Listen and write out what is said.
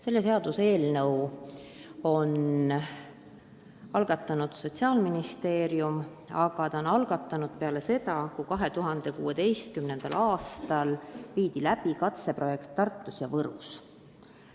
Selle seaduseelnõu on algatanud Sotsiaalministeerium, aga ta on selle algatanud peale seda, kui 2016. aastal viidi läbi katseprojekt Tartus ja Võrus.